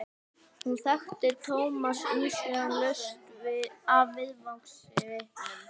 Hún þekkti Thomas umsvifalaust af vangasvipnum.